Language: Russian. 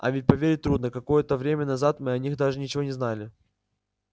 а ведь поверить трудно какое-то время назад мы о них даже ничего не знали